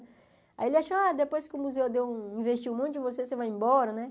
Aí ele achou, ah, depois que o museu deu investiu um monte em você, você vai embora, né?